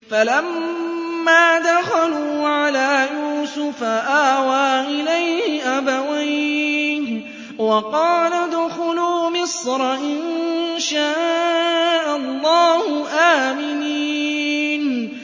فَلَمَّا دَخَلُوا عَلَىٰ يُوسُفَ آوَىٰ إِلَيْهِ أَبَوَيْهِ وَقَالَ ادْخُلُوا مِصْرَ إِن شَاءَ اللَّهُ آمِنِينَ